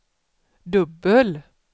dubbel